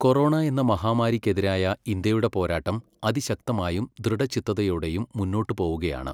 Corona എന്ന മഹാമാരിക്കെതിരായ ഇന്ത്യയുടെ പോരാട്ടം അതിശക്തമായും ദൃഢചിത്തതയോടെയും മുന്നോട്ടു പോകുകയാണ്.